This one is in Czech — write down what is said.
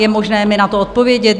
Je možné mi na to odpovědět?